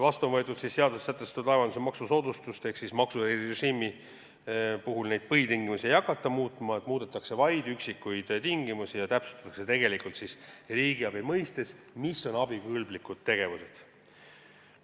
Vastu on võetud seaduses sätestatud laevanduse maksusoodustus, ehk siis maksu erirežiimi puhul põhitingimusi muutma ei hakata, muudetakse vaid üksikuid tingimusi ja täpsustatakse, millised on riigiabi mõistes abikõlblikud tegevused.